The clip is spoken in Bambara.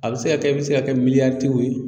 A bɛ se ka kɛ i bɛ se ka kɛ miliyar tigiw ye.